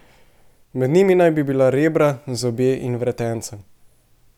Med njimi naj bi bila rebra, zobje in vretenca.